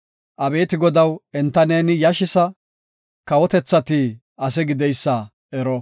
Abeeti Godaw enta neeni yashisa; kawotethati ase gideysa ero. Salaha.